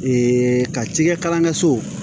ka cikɛ kalankɛsow